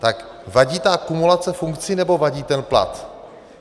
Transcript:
Tak vadí ta kumulace funkcí, nebo vadí ten plat?